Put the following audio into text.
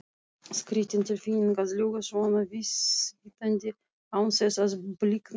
Skrýtin tilfinning að ljúga svona vísvitandi án þess að blikna.